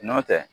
Nɔntɛ